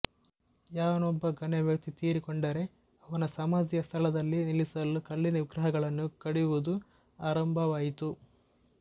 ಯಾವನೊಬ್ಬ ಗಣ್ಯವ್ಯಕ್ತಿ ತೀರಿಕೊಂಡರೆ ಅವನ ಸಮಾಧಿಯ ಸ್ಥಳದಲ್ಲಿ ನಿಲ್ಲಿಸಲು ಕಲ್ಲಿನ ವಿಗ್ರಹಗಳನ್ನು ಕಡೆಯುವುದು ಆರಂಭವಾಯಿತು